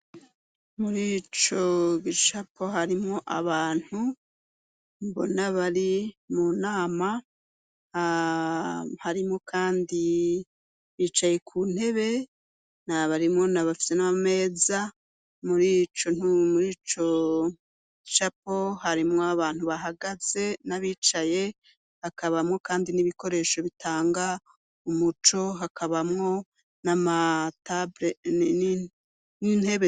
Muri ico gicapo harimwo abantu mbona abari mu nama aharimo, kandi bicaye ku ntebe n abarimwo nabafise n'ameza muri co ntumuri co gicapo harimwo abantu bahaga agaze n'abicaye hakabamwo, kandi n'ibikoresho bitanga umuco hakabamwo nia mataenni n'intebe.